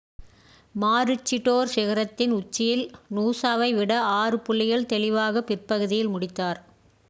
Maroochydore சிகரத்தின் உச்சியில் நூசாவை விட ஆறு புள்ளிகள் தெளிவாக பிற்பகுதியில் முடித்தார்